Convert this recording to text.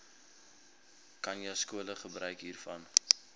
khanyaskole gebruik hiervan